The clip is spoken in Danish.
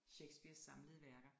Shakespeares samlede værker